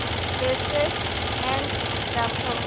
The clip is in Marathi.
लेटेस्ट अॅड दाखव